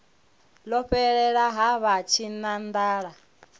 ḽo fhelela ha vha tshinanḓala